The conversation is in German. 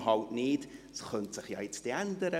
Dies könnte sich jetzt dann ändern.